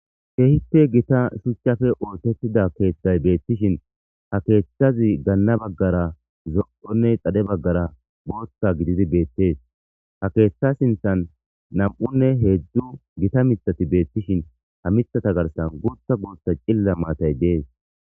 keehippe gita suctchafe ootettida keeththay beettishin ha keeththazi ganna baggara zo7onne xade baggara gooththa gididi beettees ha keeththa sinthan nam7unne heedzdzu gita mithati beettishin ha mithata garsan guutha gootha cilla maatay dees